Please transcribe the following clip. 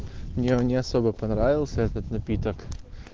мне он не особо понравился этот напиток